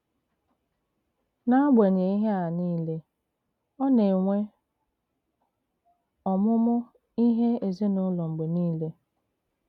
N’agbanyeghị ihé a niile, ọ na-enwè ọmụ́mụ́ ihé èzìnùlò mg̀bè niile.